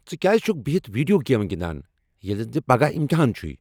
ژٕ كیازِ چھُكھ بہِتھ ویڈیو گیمہٕ گِندان ییلہِ زن ژے٘ پگاہ امتحان چھُے ؟